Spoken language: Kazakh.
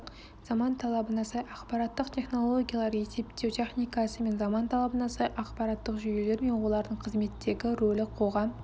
заман талабына сай ақпараттық технологиялар есептеу техникасы мен заман талабына сай ақпараттық жүйелер мен олардың қызметтегі рөлі қоғам